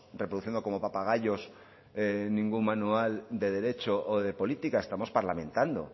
reproduciendo como papagayos ningún manual de derecho o de política estamos parlamentando